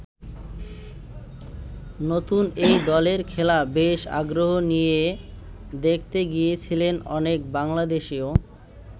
নতুন এই দলের খেলা বেশ আগ্রহ নিয়ে দেখতে গিয়েছিলেন অনেক বাংলাদেশিও।